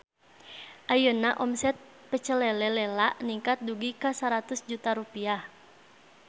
Ayeuna omset Pecel Lele Lela ningkat dugi ka 100 juta rupiah